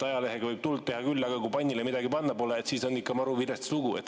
Ajalehega võib teha küll tuld, aga kui pannile midagi panna pole, siis on ikka maru vilets lugu.